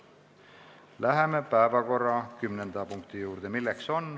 Läheme päevakorra kümnenda punkti juurde.